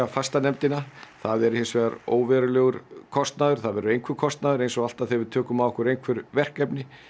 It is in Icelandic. fastanefndina það er hins vegar óverulegur kostnaður það verður einhver kostnaður eins og alltaf þegar við tökum að okkur einhver verkefni